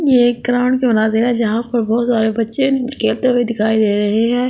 ये एक बना दे रहा है जहाँ पर बहुत सारे बच्चे खेलते हुए दिखाई दे रहे है।